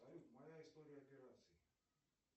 салют моя история операций